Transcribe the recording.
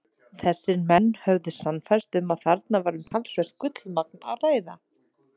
Þessir menn höfðu sannfærst um, að þarna væri um talsvert gullmagn að ræða.